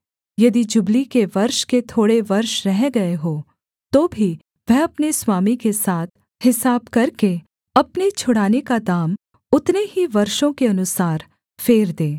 यदि जुबली के वर्ष के थोड़े वर्ष रह गए हों तो भी वह अपने स्वामी के साथ हिसाब करके अपने छुड़ाने का दाम उतने ही वर्षों के अनुसार फेर दे